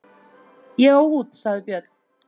Ég á út, sagði Björn.